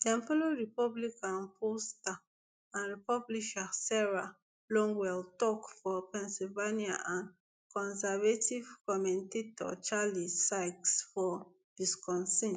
dem follow republican pollster and publisher sarah longwell tok for pennsylvania and conservative commentator charlie sykes for wisconsin